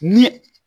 Ni